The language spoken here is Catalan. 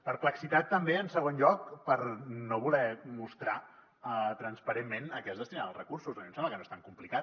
perplexitat també en segon lloc per no voler mostrar transparentment a què es destinen els recursos a mi em sembla que no és tan complicat